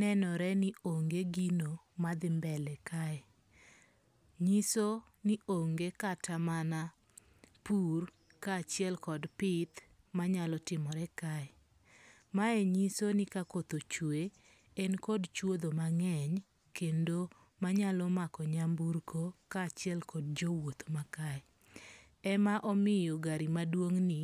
nenore ni onge gino madhi mbele kae. Nyiso ni onge kata mana pur ka achiel kod pith manyalo timore kae. Mae nyiso ni ka koth ochwe en kod chuodho mang'eny kendo manyalo mako nyamburko ka achiel kod jowuoth ma kae. Ema omiyo gari= maduong' ni